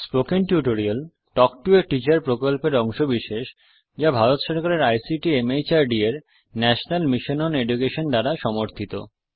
spoken tutorial talk to a teacher প্রকল্পের অংশবিশেষ যা ভারত সরকারের আইসিটি মাহর্দ এর ন্যাশনাল মিশন ওন এডুকেশন দ্বারা সমর্থিত